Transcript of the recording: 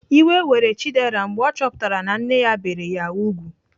Iwe were Chidera mgbe ọ chọpụtara na nne ya bere ya ùgwù.